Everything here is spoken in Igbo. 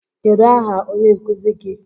Kedụ aha onye nkụzi gi?